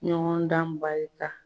Ɲɔgɔn dan barika